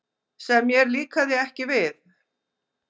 Sem mér líkaði ekki við.